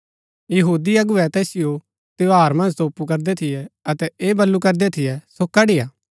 यहूदी अगुवै तैसिओ त्यौहार मन्ज तोपू करदै थियै अतै ऐह बल्लू करदै थियै सो कड़ी हा